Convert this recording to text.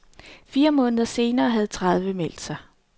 Fire måneder senere havde tredive meldt sig.